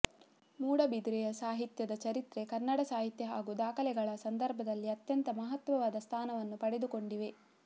ಮೂಡುಬಿದಿರೆಯ ಸಾಹಿತ್ಯದ ಚರಿತ್ರೆ ಕನ್ನಡ ಸಾಹಿತ್ಯ ಹಾಗೂ ದಾಖಲೆಗಳ ಸಂದರ್ಭದಲ್ಲಿ ಅತ್ಯಂತ ಮಹತ್ವವಾದ ಸ್ಥಾನವನ್ನು ಪಡೆದುಕೊಂಡಿವೆ